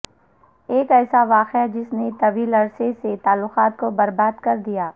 ایک ایسا واقعہ جس نے طویل عرصے سے تعلقات کو برباد کر دیا